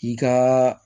I ka